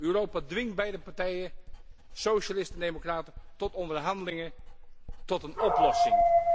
Europa, dwing beide partijen, socialisten en democraten, tot onderhandelingen, tot een oplossing.